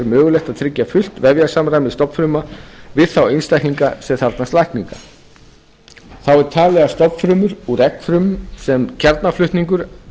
mögulegt að tryggja fullt vefjasamræmi stofnfrumna við þá einstaklinga sem þarfnast lækninga þá er talið að stofnfrumur úr eggfrumum sem kjarnaflutningur